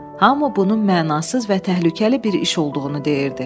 Hamı bunun mənasız və təhlükəli bir iş olduğunu deyirdi.